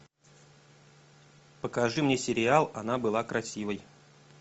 покажи мне сериал она была красивой